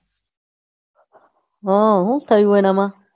હા હું થયું એના માં